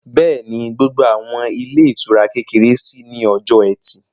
Bẹ́ẹ̀ni, gbogbo àwọn ilé ìtura kékeré ṣí ní ọjọ́ ẹtì